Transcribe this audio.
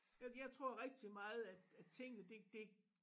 Jeg tror rigtig meget at at tingene det det